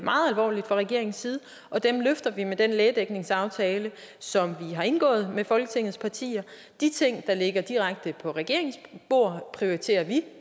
alvorligt fra regeringens side og dem løfter vi med den lægedækningsaftale som vi har indgået med folketingets partier de ting der ligger direkte på regeringens bord prioriterer vi